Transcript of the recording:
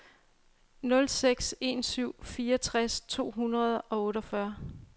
nul seks en syv fireogtres to hundrede og otteogfyrre